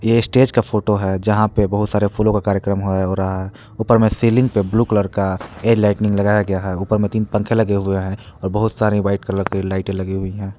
ये स्टेज का फोटो है जहां पे बहुत सारे फूलों का कार्यक्रम हो रहा है ऊपर में सीलिंग पे ब्लू कलर का एयर लाइट्निंग लगाया गया है ऊपर मे तीन पंखे लगे हुए हैं और बहुत सारे व्हाइट कलर की लाइटें लगी हुई है।